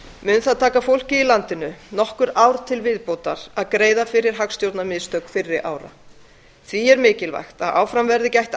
mun það því taka fólkið í landinu nokkur ár til viðbótar að greiða fyrir hagstjórnarmistök fyrri ára því er mikilvægt að áfram verði gætt